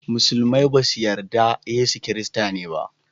Musulmai ba su yarda da Yesu Kirista ne ba